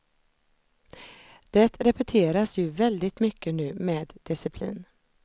Det repeteras ju väldigt mycket nu med disciplin.